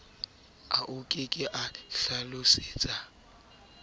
ao ke a hlalositseng ka